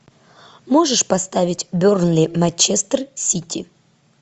можешь поставить бернли манчестер сити